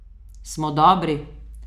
Smo dobri?